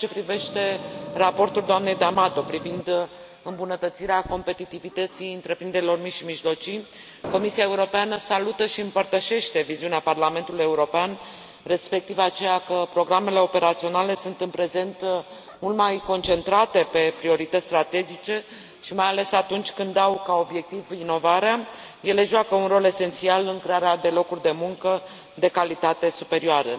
În ceea ce privește raportul doamnei D'Amato privind îmbunătățirea competitivității întreprinderilor mici și mijlocii, Comisia Europeană salută și împărtășește viziunea Parlamentului European, respectiv aceea că programele operaționale sunt, în prezent, mult mai concentrate pe priorități strategice și, mai ales atunci când au ca obiectiv inovarea, ele joacă un rol esențial în crearea de locuri de muncă de calitate superioară.